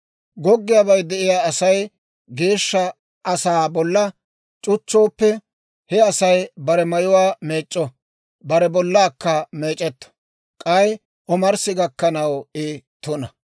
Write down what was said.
« ‹Goggiyaabay de'iyaa Asay geeshsha asaa bolla c'uchchooppe, he Asay bare mayuwaa meec'c'o; bare bollaakka meec'etto; k'ay omarssi gakkanaw I tuna.